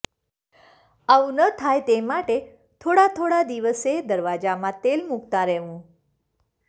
આવું ન થાય તે માટે થોડા થોડા દિવસે દરવાજામાં તેલ મુકતાં રહેવું